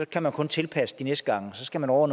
kan man kun tilpasse det de næste gange og så skal man over